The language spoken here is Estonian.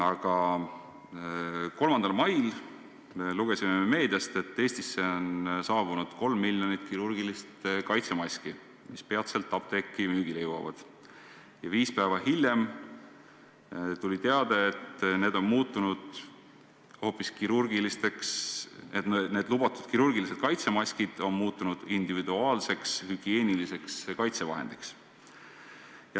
Aga 3. mail lugesime meediast, et Eestisse on saabunud 3 miljonit kirurgilist kaitsemaski, mis peatselt apteekidesse müügile jõuavad, kuid viis päeva hiljem tuli teade, et need lubatud kirurgilised kaitsemaskid on muutunud hoopis individuaalseks hügieeniliseks kaitsevahendiks.